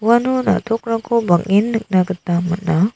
uano na·tokrangko bang·en nikna gita man·a.